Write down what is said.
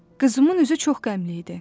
Qızımın üzü çox qəmli idi.